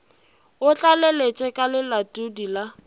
o tlaleletše ka lelatodi la